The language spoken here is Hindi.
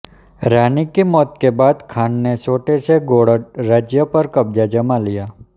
रानी की मौत के बाद खान ने छोटे से गोण्ड राज्य पर कब्जा जमा लिया